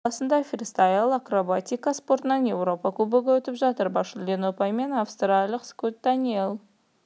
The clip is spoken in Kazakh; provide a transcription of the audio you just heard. финляндияның рука қаласында фристайл акробатика спортынан еуропа кубогы өтіп жатыр бас жүлдені ұпаймен австриялық скотт даниель